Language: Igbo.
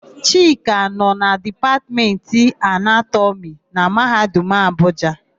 Chika nọ na Dipatmentị Anatọmị na Mahadum Abuja.